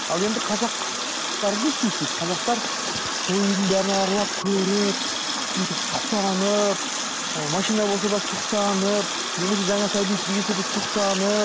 ал енді қазақтар не істейді дейді қазақтар сол үйдің бәрін аралап көріп бүйтіп сұқтанып ы машина болса да сұқтанып немесе жаңағы сәби дүниеге келсе де сұқтанып